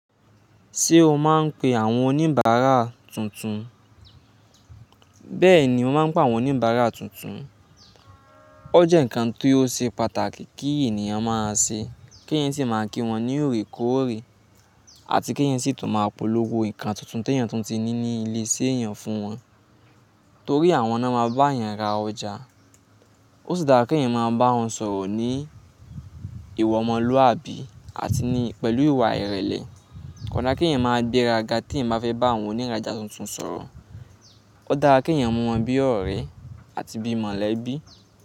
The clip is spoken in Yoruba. Ṣé o máa ń pe àwọn oníbàárà tuntun? Bẹ́ẹ̀ni, mo máa ń pé àwọn oníbàárà tuntun. Ó jẹ́ nǹkan tó ṣe pàtàkì kí ènìyàn máa ṣe. Kí èyin sì máa kí wọ́n ní ọ̀rẹ́ kó ọ̀rẹ́ àti kí èyin sì tún máa polówó nǹkan tuntun tí èeyan tun ti ni ní ilé ṣe èyàn fún wọn. Torí àwọn náà máa bá èyan ra ọjà. Ó sì dára kí èeyan máa bá wọn sọ̀rọ̀ ní ìwa ọmọlúwàbí àti ní pẹ̀lú ìwà ìrẹ̀lẹ̀. Kò dára kí èyin máa gbéraga tí èeyan bá fẹ́ bá àwọn oníràjà tuntun sọ̀rọ̀. Ó dára kí èeyan mú wọn bí ọ̀rẹ́ àti bí mọ̀lẹ́bí.